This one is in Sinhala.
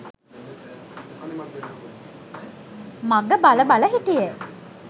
මඟ බල බල හිටියෙ